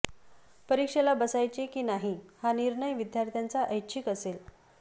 परीक्षेला बसायचे की नाही हा निर्णय विद्यार्थ्यांचा ऐच्छीक असेल